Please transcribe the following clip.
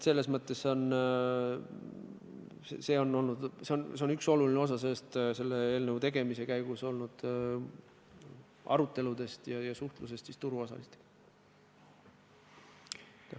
See teema on olnud olulisel kohal eelnõu tegemise käigus peetud aruteludes ja turuosalistega suhtlemises.